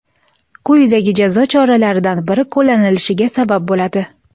quyidagi jazo choralaridan biri qo‘llanilishiga sabab bo‘ladi:.